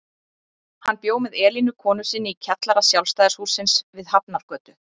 Hann bjó með Elínu konu sinni í kjallara Sjálfstæðishússins við Hafnargötu.